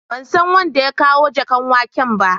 Ban san wanda ya kawo jakan waken ba.